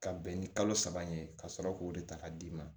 Ka bɛn ni kalo saba in ye ka sɔrɔ k'o de ta ka d'i ma